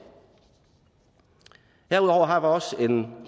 herudover har vi også en